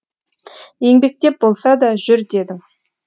еңбектеп болса да жүр дедің